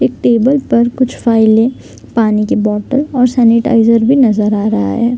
एक टेबल पर कुछ फाइलें पानी की बॉटल और सैनेटाईज़र भी नजर आ रहा है।